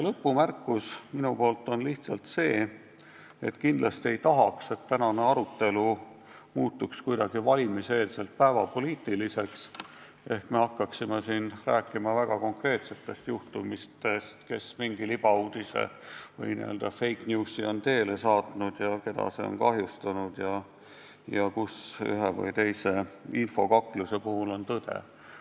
Lõpumärkus minu poolt on aga see, et kindlasti ei tahaks, et tänane arutelu muutuks valimiseelselt päevapoliitiliseks ehk me hakkaksime siin rääkima väga konkreetsetest juhtumitest ja arutama, kes mingi libauudise ehk fake news'i on teele saatnud ja keda see on kahjustanud ja kus ühe või teise infokakluse puhul on tõde.